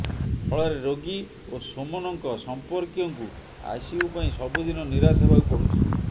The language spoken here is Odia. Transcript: ଫଳରେ ରୋଗୀ ଓ ସୋମନଙ୍କ ସମ୍ପର୍କୀୟଙ୍କୁ ଆଇସିୟୁ ପାଇଁ ସବୁଦିନ ନିରାଶ ହେବାକୁ ପଡ଼ୁଛି